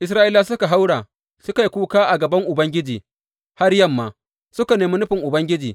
Isra’ilawa suka haura suka yi kuka a gaban Ubangiji, har yamma, suka nemi nufin Ubangiji.